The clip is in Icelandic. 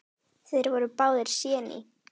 Þeir voru báðir séní.